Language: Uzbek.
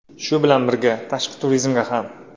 Shu bilan birga, tashqi turizmga ham.